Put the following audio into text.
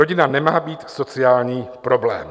Rodina nemá být sociální problém.